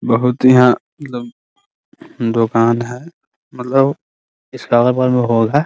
बहुत यहाँ मतलब दुकान है मतलब इस का अगल-बगल मे होल है ।